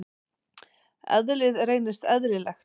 Eðlið reynist eðlilegt.